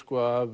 af